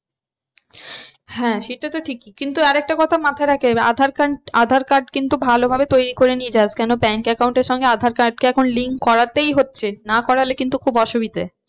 হ্যাঁ সেটা তো ঠিকই কিন্তু আর একটা কথা মাথায় রেখে aadhaar card, aadhaar card কিন্তু ভালো ভাবে তৈরী করে নিয়ে যাস কেন bank account এর সঙ্গে aadhaar card কে এখন link করাতেই হচ্ছে না খুব অসুবিধে